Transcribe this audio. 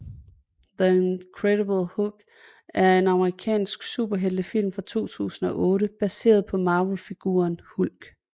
The Incredible Hulk er en amerikansk superheltefilm fra 2008 baseret på Marvelfiguren Hulk